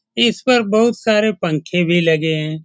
इस पर बहुत सारे पंखे भी लगे हैं।